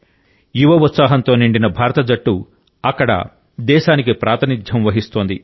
యువ ఉత్సాహంతో నిండిన భారత జట్టు అక్కడ దేశానికి ప్రాతినిధ్యం వహిస్తోంది